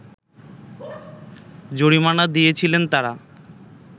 জরিমানা দিয়েছিলেন তারা